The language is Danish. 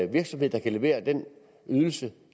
virksomhed der kan levere den ydelse